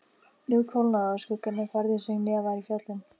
Nú kólnaði og skuggarnir færðu sig neðar í fjöllin.